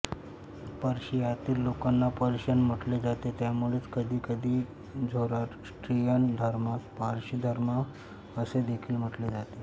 पर्शियातील लोकांना पर्शियन म्हटले जाते त्यामुळेच कधी कधी झोराष्ट्रियन धर्मास पारशी धर्म असेदेखील म्हटले जाते